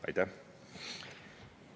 Aitäh!